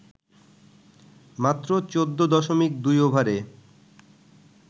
মাত্র ১৪.২ ওভারে